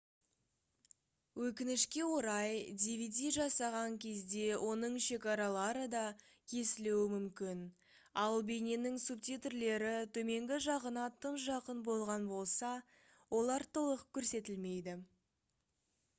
өкінішке орай dvd жасаған кезде оның шекаралары да кесілуі мүмкін ал бейненің субтитрлері төменгі жағына тым жақын болған болса олар толық көрсетілмейді